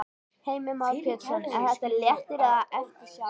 Heimir Már Pétursson: Er þetta léttir eða eftirsjá?